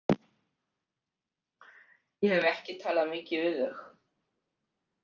Ég hef ekki talað mikið við þau.